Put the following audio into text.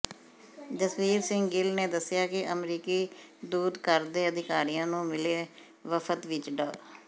ਜਸਵੀਰ ਸਿੰਘ ਗਿੱਲ ਨੇ ਦੱਸਿਆ ਕਿ ਅਮਰੀਕੀ ਦੂਤਘਰ ਦੇ ਅਧਿਕਾਰੀਆਂ ਨੂੰ ਮਿਲੇ ਵਫ਼ਦ ਵਿੱਚ ਡਾ